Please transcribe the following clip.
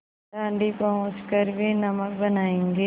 दाँडी पहुँच कर वे नमक बनायेंगे